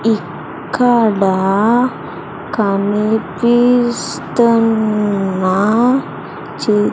ఇక్కడ కనిపిస్తున్న చి --